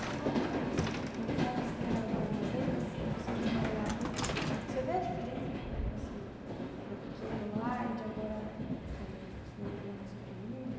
E uma pergunta assim, eu já visitei Araraquara uma vez, mas você que mora lá há tempo, você vê a diferença de quando você era pequeno lá e de agora eh morando lá com a sua família?